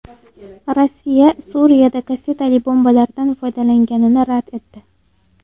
Rossiya Suriyada kassetali bombalardan foydalanganini rad etdi.